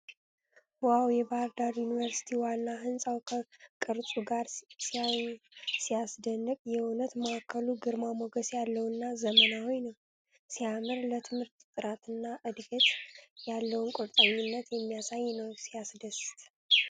ዋው! የባህር ዳር ዩኒቨርሲቲ ዋና ህንጻው ከቅርጽ ጋር ሲያስደንቅ! የእውቀት ማዕከሉ ግርማ ሞገስ ያለውና ዘመናዊ ነው። ሲያምር! ለትምህርት ጥራትና እድገት ያለውን ቁርጠኝነት የሚያሳይ ነው። ሲያስደስት!